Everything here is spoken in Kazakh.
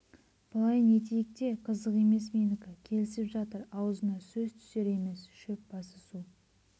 былай нетейік те қызық емес менікі келісіп жатыр аузына сөз түсер емес шөп басы су